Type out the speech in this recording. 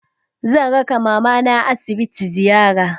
Zan raka mamana asibiti ziyara.